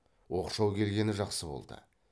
оқшау келгені жақсы болды